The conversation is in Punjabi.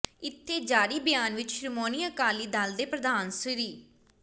ਇਥੇ ਜਾਰੀ ਬਿਆਨ ਵਿੱਚ ਸ਼੍ਰੋਮਣੀ ਅਕਾਲੀ ਦਲ ਦੇ ਪ੍ਰਧਾਨ ਸ